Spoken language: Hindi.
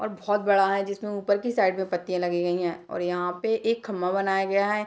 और बहुत बड़ा है जिसमें उपर की साइड में पत्तियाँ लगी गई है और यहाँ पे एक खम्भा बनाया गया है।